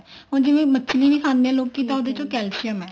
ਹੁਣ ਜਿਵੇਂ ਮਛਲੀ ਵੀ ਖਾਂਦੇ ਆ ਲੋਕੀ ਤਾਂ ਉਹਦੇ ਚ calcium ਹੈ